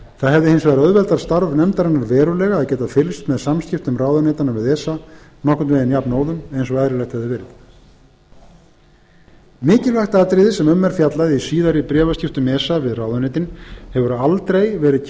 það hefði hins vegar auðveldað starf nefndarinnar verulega að geta fylgst með samskiptum ráðuneytanna við esa nokkurn veginn jafnóðum bein og eðlilegt hefði verið mikilvægt atriði sem um er fjallað í síðari bréfaskiptum esa við ráðuneytin hefur aldrei verið